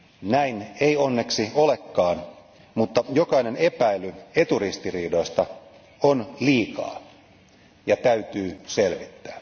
Näin ei onneksi olekaan, mutta jokainen epäily eturistiriidoista on liikaa ja täytyy selvittää.